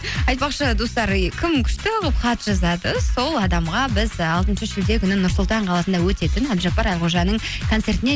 айтпақшы достар е кім күшті қылып хат жазады сол адамға біз ы алтыншы шілде күні нұр сұлтан қаласында өтетін әбдіжаппар әлқожаның концертіне